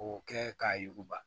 K'o kɛ k'a yuguba